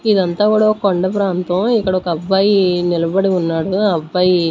ఇదంతా కూడా ఒక కొండ ప్రాంతం ఇక్కడ ఒక అబ్బాయి నిలబడి ఉన్నాడు ఆ అబ్బాయి.